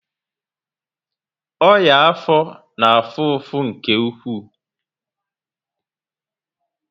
Ọnyá afọ na afụ afụ nke ụkwụ